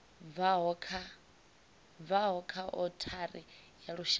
bvaho kha othari ya lushaka